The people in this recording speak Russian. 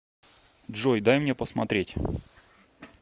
джой дай мне посмотреть